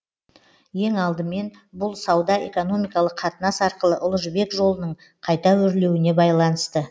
ең алдымен бұл сауда экономикалық қатынас арқылы ұлы жібек жолының қайта өрленуіне байланысты